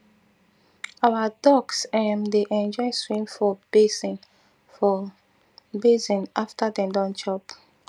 our ducks um dey enjoy swim for basin for basin after dem don chop